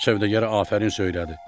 Sövdəgərə afərin söylədi.